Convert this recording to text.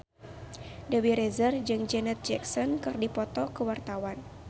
Dewi Rezer jeung Janet Jackson keur dipoto ku wartawan